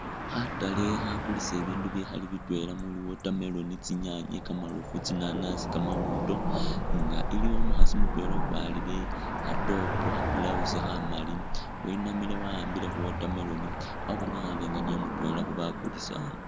Khatale khakulisa ibindu bikhali bitwela muli watermelon, tsinyanye, kamarofu, tsinanasi, kamawondo inga iliwo umukhasi mutwela ukwarile kha top kha blouse khamali winamile wakhambile khu watermelon wabonekhhane nga niye mutwela khubakulisa aha